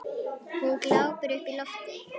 Hún glápir upp í loftið.